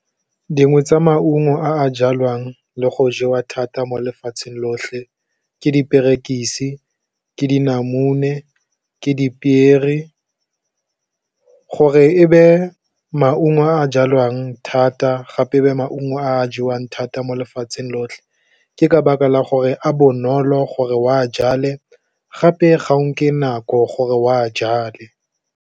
Dingwe tsa maungo a a jalwang le go jewa thata mo lefatsheng lotlhe, ke diperekisi, ke dinamune, ke dipiere, gore e be maungo a jalwang thata gape e be maungo a jewang thata mo lefatsheng lotlhe ke ka baka la gore a bonolo gore o a jale gape ga o nke nako gore o a jale.